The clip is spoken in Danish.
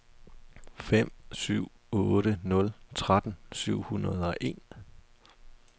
fem syv otte nul tretten syv hundrede og en